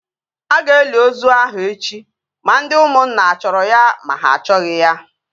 A ga-eli ozu ahụ echi ma ndị ụmụnna a chọrọ ya ma ha achọghị ya!